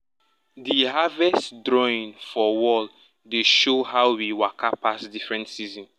the harvest drawing for wall dey show how we waka pass different season.